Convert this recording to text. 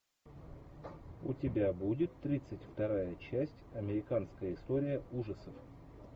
у тебя будет тридцать вторая часть американская история ужасов